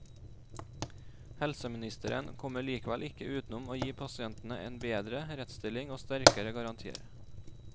Helseministeren kommer likevel ikke utenom å gi pasientene en bedre rettsstilling og sterkere garantier.